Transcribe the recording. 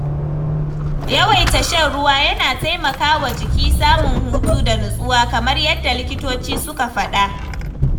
Yawaita shan ruwa yana taimaka wa jiki samun hutu da nutsuwa, kamar yadda likitoci suka faɗa